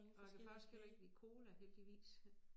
Og jeg kan faktisk heller ikke lide cola heldigvis